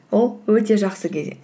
ол өте жақсы